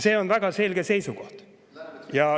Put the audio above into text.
See on väga selge seisukoht.